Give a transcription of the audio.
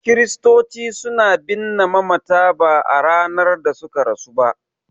Kiristoci suna binne mamata ba a ranar da suka rasu ba.